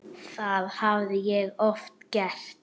Það hafði ég oft gert.